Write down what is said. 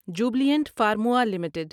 Jubilant Pharmova limited